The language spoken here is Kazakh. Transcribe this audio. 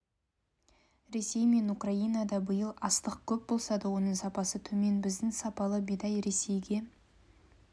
ресей мен украинада биыл астық көп болса да оның сапасы төмен біздің сапалы бидай ресейге